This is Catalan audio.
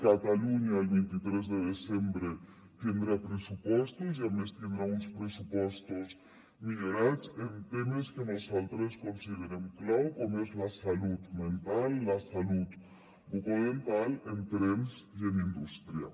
catalunya el vint tres de desembre tindrà pressupostos i a més tindrà uns pressupostos millorats en temes que nosaltres considerem clau com la salut mental la salut bucodental en trens i en indústria